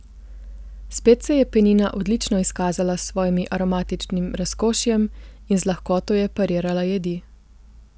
Spet se je penina odlično izkazala s svojim aromatičnim razkošjem in z lahkoto je parirala jedi.